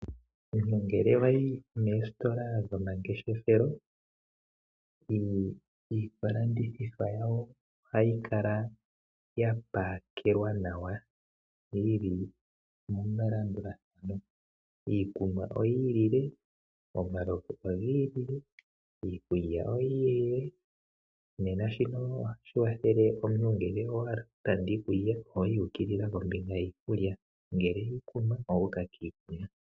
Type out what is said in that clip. Ngele wayi moositola dhomangeshefelo iilandithomwa yawo, ohayi kala yapakelwa nawa , yili melandulathano. Iikunwa oyii lile, omalovu ogiilile , iikulya oyii lile. Shino ohashi kwathele omuntu owahala sha ohoyi wu ukilila mpoka puna iikulya niikunwa.